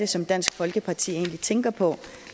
som dansk folkeparti tænker på